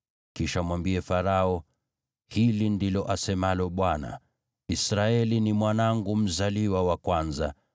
Kisha mwambie Farao, ‘Hili ndilo asemalo Bwana : Israeli ni mwanangu mzaliwa wa kwanza,